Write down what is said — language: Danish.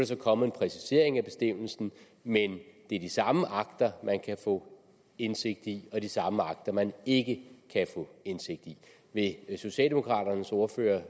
så kommet en præcisering af bestemmelsen men det er de samme akter man kan få indsigt i og de samme akter man ikke kan få indsigt i vil socialdemokraternes ordfører